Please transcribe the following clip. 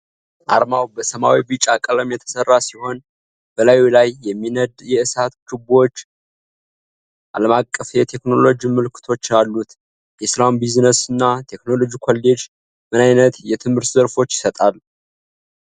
ዓርማው በሰማያዊና ቢጫ ቀለም የተሰራ ሲሆን፣ በላዩ ላይ የሚነድ የእሳት ችቦና አለምአቀፍ የቴክኖሎጂ ምልክቶች አሉት። የሰላም ቢዝነስና ቴክኖሎጂ ኮሌጅ ምን ዓይነት የትምህርት ዘርፎችን ይሰጣል?